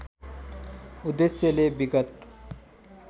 उद्देश्यले विगत